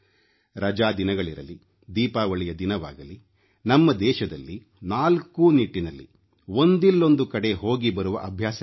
ರಜಾ ದಿನಗಳಿರಲಿ ದೀಪಾವಳಿಯ ದಿನವಾಗಲಿ ನಮ್ಮ ದೇಶದಲ್ಲಿ ನಾಲ್ಕೂ ನಿಟ್ಟಿನಲ್ಲಿ ಒಂದಿಲ್ಲೊಂದು ಕಡೆ ಹೋಗಿ ಬರುವ ಅಭ್ಯಾಸವಿದೆ